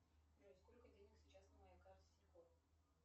джой сколько денег сейчас на моей карте тинькофф